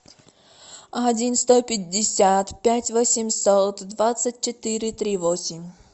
один сто пятьдесят пять восемьсот двадцать четыре три восемь